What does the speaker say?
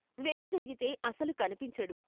వెనుదిరిగి తే అసలు కన్పించడు.